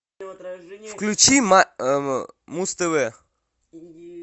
включи муз тв